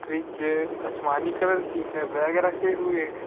Fridge असमानी colour की है बैग रखे हुए हैं।